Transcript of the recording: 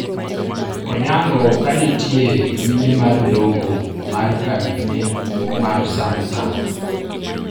Onyango kanitie nyime mar logo mar kambine mar samsung